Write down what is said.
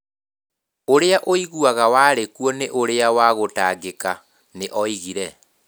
Ũrĩa ũiguaga warĩ kuo nĩ ũrĩa wa gũtangĩka nĩ oigire.